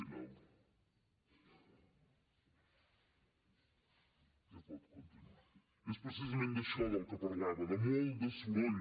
és precisament d’això del que parlava de molt de soroll